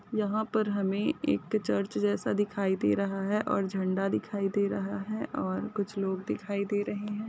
यहाँ पर हमे एक चर्च जैसा दिखाई दे रहा है और झंडा दिखाई दे रहा है और कुछ लोग दिखाई दे रहे है।